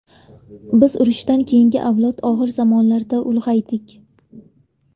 Biz urushdan keyingi avlod og‘ir zamonlarda ulg‘aydik.